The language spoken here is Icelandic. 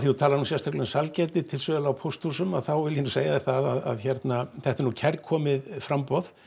þú talar nú sérstaklega um sælgæti til sölu á pósthúsunum þá vil ég segja þér það að þetta er nú kærkomið framboð